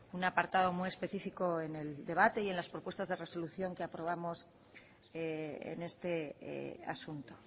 un apartado muy especifico en el debate y en las propuestas de resolución que aprobamos en este asunto